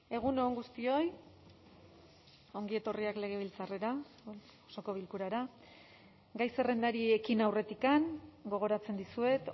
egun on guztioi ongi etorriak legebiltzarrera osoko bilkurara gai zerrendari ekin aurretik gogoratzen dizuet